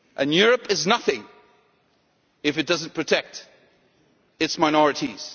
all. Europe is nothing if it does not protect its minorities.